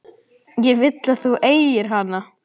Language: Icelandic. Ég vil að þú eigir hana.